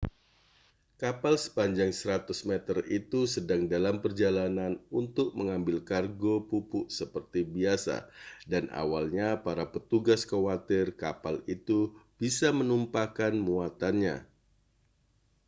kapal sepanjang 100 meter itu sedang dalam perjalanan untuk mengambil kargo pupuk seperti biasa dan awalnya para petugas khawatir kapal itu bisa menumpahkan muatannya